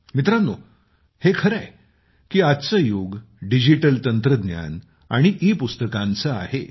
मित्रांनो हे खरे आहे की आजचे युग डिजिटल तंत्रज्ञान आणि ईपुस्तकांचे आहे